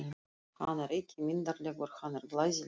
Hann er ekki myndarlegur, hann er glæsilegur!